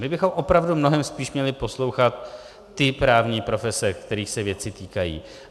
My bychom opravdu mnohem spíš měli poslouchat ty právní profese, kterých se věci týkají.